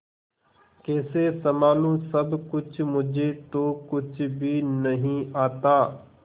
कैसे संभालू सब कुछ मुझे तो कुछ भी नहीं आता